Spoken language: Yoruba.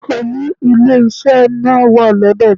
Òòlù ilé iṣẹ́ náà wà lọ́dọ̀ mi.